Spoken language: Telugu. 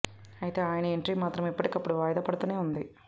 అయితే ఆయన ఎంట్రీ మాత్రం ఎప్పటికప్పుడు వాయిదా పడుతూనే ఉంది